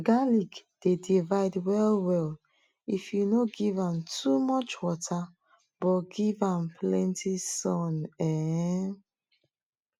garlic dey divide well well if you no give am too much water but give am plenty sun um